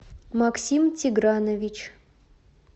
максим тигранович